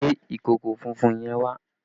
Gbé ìkòkò funfun yẹn wá!